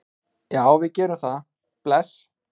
Já, við gerum það. Bless.